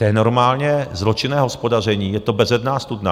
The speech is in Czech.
To je normálně zločinné hospodaření, je to bezedná studna.